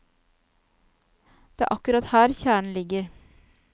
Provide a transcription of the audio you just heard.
Det er akkurat her kjernen ligger.